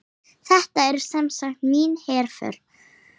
Þetta er semsagt mín herför.